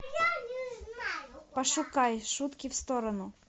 пошукай шутки в сторону